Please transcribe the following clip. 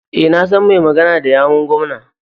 E, na san mai magana da yawun gwamnan.